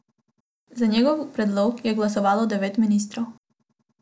Za njegov predlog je glasovalo devet ministrov.